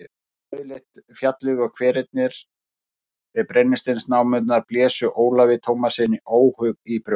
Rauðleitt fjallið og hverirnir við brennisteinsnámurnar blésu Ólafi Tómassyni óhug í brjóst.